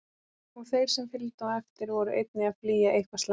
Og þeir sem fylgdu á eftir voru einnig að flýja eitthvað slæmt.